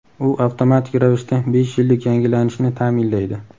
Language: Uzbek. U avtomatik ravishda besh yillik yangilanishni ta’minlaydi.